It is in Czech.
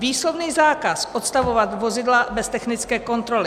Výslovný zákaz odstavovat vozidla bez technické kontroly.